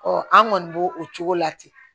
an kɔni bo o cogo la ten